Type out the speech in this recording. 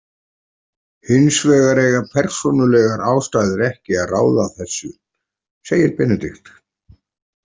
Hins vegar eiga persónulegar ástæður ekki að ráða þessu, segir Benedikt.